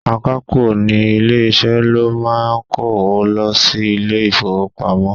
Akapo ní ilé-isẹ ló máa ń kówo lọ sí ilé-ifowopamo.